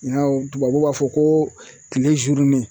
tubabuw b'a fɔ ko kile